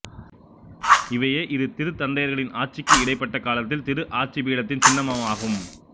இவையே இரு திருத்தந்தையர்களின் ஆட்சிக்கு இடைப்பட்ட காலத்தில் திரு ஆட்சிப்பீடத்தின் சின்னமுமாகும்